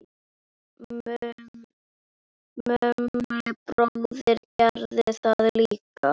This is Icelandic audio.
Mummi bróðir gerði það líka.